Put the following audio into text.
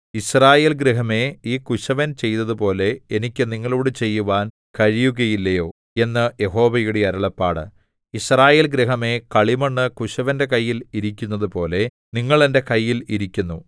യിസ്രായേൽ ഗൃഹമേ ഈ കുശവൻ ചെയ്തതുപോലെ എനിക്ക് നിങ്ങളോടു ചെയ്യുവാൻ കഴിയുകയില്ലയോ എന്ന് യഹോവയുടെ അരുളപ്പാട് യിസ്രായേൽ ഗൃഹമേ കളിമണ്ണു കുശവന്റെ കയ്യിൽ ഇരിക്കുന്നതുപോലെ നിങ്ങൾ എന്റെ കയ്യിൽ ഇരിക്കുന്നു